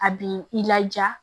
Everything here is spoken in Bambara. A bi i laja